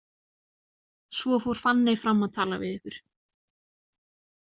Svo fór Fanney fram að tala við ykkur.